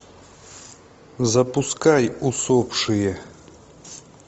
запускай усопшие